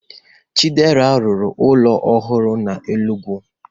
Chidera rụrụ ụlọ ọhụrụ n'Enugwu